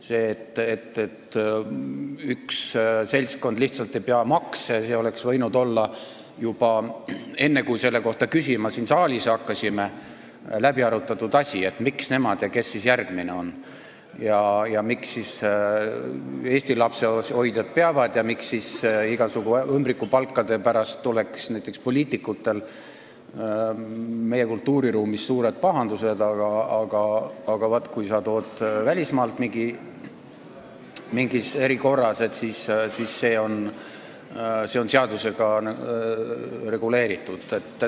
See, et üks seltskond lihtsalt ei pea makse maksma, oleks võinud olla läbi arutatud juba enne, kui me selle kohta siin saalis küsima hakkasime, et miks nemad, kes siis järgmine on, miks siis Eesti lapsehoidjad peavad maksma ja miks on nii, et igasugu ümbrikupalkade pärast tuleks näiteks poliitikutel meie kultuuriruumis suured pahandused, aga kui sa tood välismaalt mingis erikorras kellegi siia, siis see on seadusega reguleeritud.